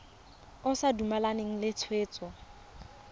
o sa dumalane le tshwetso